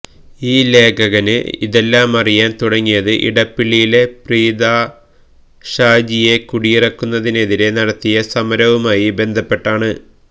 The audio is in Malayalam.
ഈ ലേഖകന് ഇതെല്ലാമറിയാന് തുടങ്ങിയത് ഇടപ്പള്ളിയിലെ പ്രീതാഷാജിയെ കുടിയിറക്കുന്നതിനെതിരേ നടത്തിയ സമരവുമായി ബന്ധപ്പെട്ടാണ്